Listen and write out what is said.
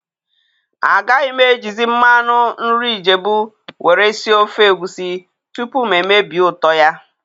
A gaghị m ejizi mmanụ nri ijebu were sie ofe egwusi tupu ma emebie ụtọ ya